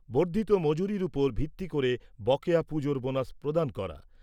বর্ধিত মজুরির উপর ভিত্তি করে বকেয়া পুজোর বোনাস প্রদান করা।